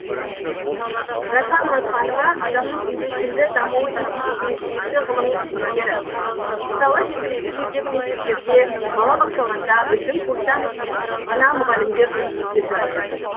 райхан мұратханова адамның үйлесімді дамуы институтының жетекші ғылыми қызметкері мысалы жергілікті жердегі мектептерде балабақшаларда біздің курстан өткен ғана мұғалімдер жұмыс істеп жатыр